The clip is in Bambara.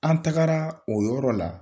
An tagara o yɔrɔ la.